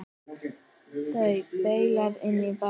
Þær baula inn í bæinn.